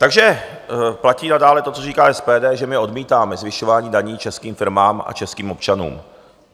Takže platí nadále to, co říká SPD, že my odmítáme zvyšování daní českým firmám a českým občanům.